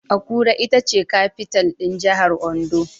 Akure ita ce kafital (capital) ɗin Jahar Ondo